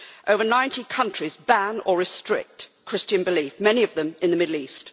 Over 90 countries ban or restrict Christian belief, many of them in the Middle East.